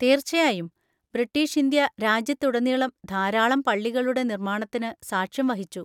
തീർച്ചയായും. British India രാജ്യത്തുടനീളം ധാരാളം പള്ളികളുടെ നിർമ്മാണത്തിന് സാക്ഷ്യം വഹിച്ചു.